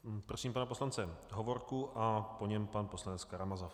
Prosím pana poslance Hovorku a po něm pan poslanec Karamazov.